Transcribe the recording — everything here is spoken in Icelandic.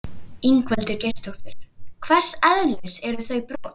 Ingveldur Geirsdóttir: Hvers eðlis eru þau brot?